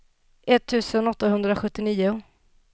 etttusen åttahundrasjuttionio